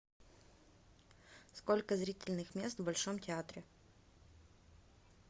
сколько зрительных мест в большом театре